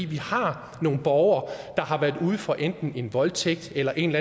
vi har nogle borgere der har været ude for enten en voldtægt eller en